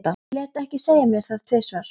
Ég lét ekki segja mér það tvisvar.